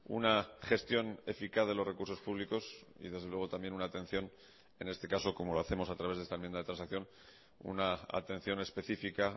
una gestión eficaz de los recursos públicos y desde luego también una atención en este caso como lo hacemos a través de esta enmienda de transacción una atención específica